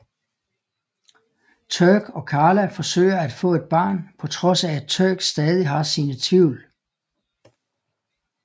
Turk og Carla forsøger at få et barn på trods af at Turk stadig har sine tvivl